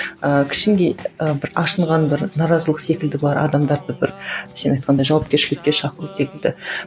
ыыы ы бір ашынған бір наразылық секілді бар адамдарды бір сен айтқандай жауапкершілікке шақыру секілді